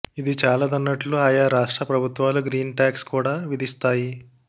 ఇది చాలదన్నట్లుగా ఆయా రాష్ట్ర ప్రభుత్వాలు గ్రీన్ టాక్స్ కూడా విధిస్తాయి